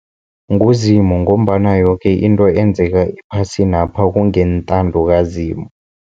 NguZimu ngombana yoke into enzeka ephasinapha kungentando kaZimu.